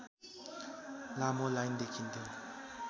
लामो लाइन देखिन्थ्यो